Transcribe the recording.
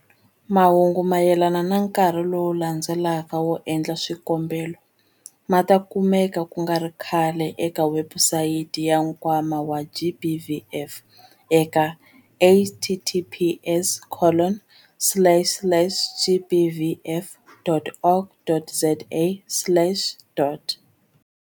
Mahungu mayelana na nkarhi lowu landzelaka wo endla swikombelo ma ta kumeka ku nga ri khale eka webusayiti ya Nkwama wa GBVF eka- https colon slash slash gbvf.org.za slash.